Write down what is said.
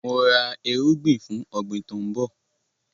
Mò ra erúgbin fún ọ̀gbín tòun bọ̀